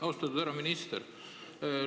Austatud härra minister!